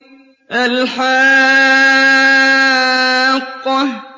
الْحَاقَّةُ